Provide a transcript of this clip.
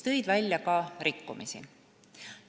Leiti ka rikkumisi.